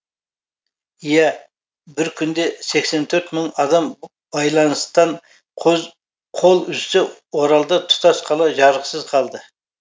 иә бір күнде сексен төрт мың адам байланыстан қол үзсе оралда тұтас қала жарықсыз қалды